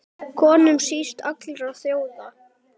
Könum síst allra þjóða!